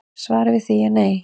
Svarið við því er nei